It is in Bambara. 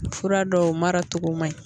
Fura dɔw mara cogo man ɲi